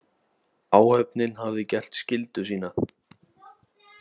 Áhöfnin hafði gert skyldu sína.